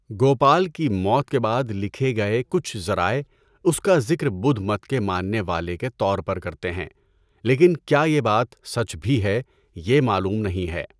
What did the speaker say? گوپال کی موت کے بعد لکھے گئے کچھ ذرائع اس کا ذکر بدھ مت کے ماننے والے کے طور پر کرتے ہیں، لیکن کیا یہ بات سچ بھی ہے، یہ معلوم نہیں ہے۔